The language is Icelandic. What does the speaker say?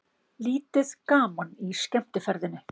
Lítið gaman í skemmtiferðinni